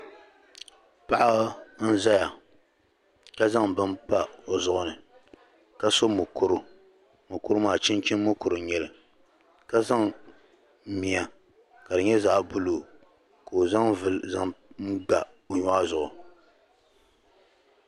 Paɣa n zaya ka zaŋ bɛni pa o zuɣu ni ka su'mukuru mukuru maa chinchini mukuru n nyɛli ka zaŋ mia ka di nyɛ zaɣ'buluu ka o zaŋ vulli n za pa o nyɔɣi zuɣu.